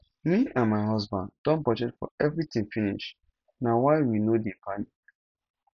me and my husband don budget for everything finish na why we no dey panic